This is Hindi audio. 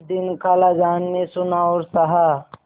कुछ दिन खालाजान ने सुना और सहा